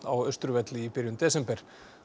á Austurvelli í byrjun desember